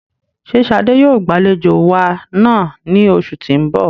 Ṣe Shade yoo gbalejo wa naa ni oṣu ti n bọ?